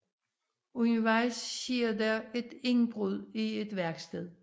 Undervejs sker der et indbrud i et værksted